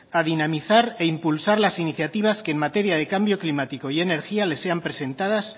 a dinamizar e impulsar las iniciativas que en materia de cambio climático y energía le sean presentadas